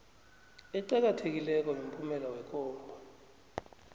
eqakathekileko yomphumela yekhomba